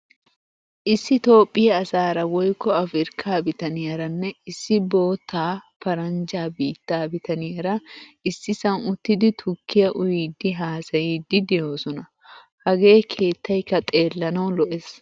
Issi Toophphiyaa asaara woykko Afrikka bitaniyaaranne issi boottaa paranjjaa biittaa bitaaniyara issisan uttidi tukkiyaa uyidi haasayidi de'oosona. Hage keettaykka xeelanawu lo'ees.